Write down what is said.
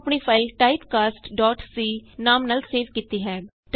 ਮੈਂ ਆਪਣੀ ਫਾਈਲ typecastਸੀ ਨਾਮ ਨਾਲ ਸੇਵ ਕੀਤੀ ਹੈ